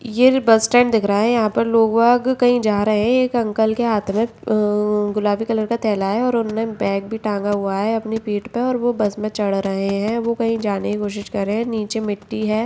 ये bus stand दिख रहा है यहाँ पर लोग बाग कही जा रहे हैं एक अंकल के हाथ में अ गुलाबी कलर का थैला है और उनने बैग भी टांगा हुआ है अपनी पीठ पे और वो बस में चढ़ रहे है वो कहीं जाने की कोशिश कर रहे है नीचे मिट्टी है।